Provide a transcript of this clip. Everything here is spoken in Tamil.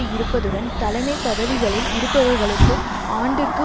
இருப்பதுடன் தலைமை பதவிகளில் இருப்பவர்களுக்கு ஆண்டிற்கு